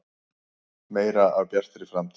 Meira af Bjartri framtíð.